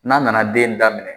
N'a nana den daminɛ,